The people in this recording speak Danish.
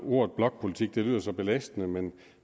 ordet blokpolitik lyder så belastende men